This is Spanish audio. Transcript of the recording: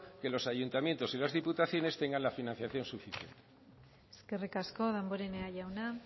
que los ayuntamientos y las diputaciones tengan la financiación suficiente eskerrik asko damborenea jauna